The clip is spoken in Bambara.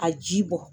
A ji bɔ